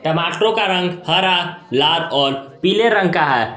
टमाटरो का रंग हरा लाल और पीले रंग का है।